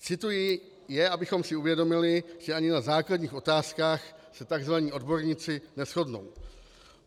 Cituji je, abychom si uvědomili, že ani na základních otázkách se tzv. odborníci neshodnou.